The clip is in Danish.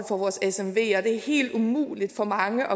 er det er helt umuligt for mange